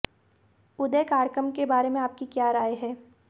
उदय कार्यक्रम के बारे में आपकी क्या राय है